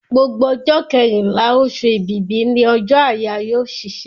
Gbogbo ọjọ́ kẹrínlá, osù èbìbí ni ọjọ́ àyáyọ́ òṣìṣẹ́